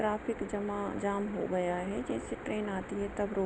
traffic जमा जाम हो गया है जैसे ट्रैन आती तब रुक--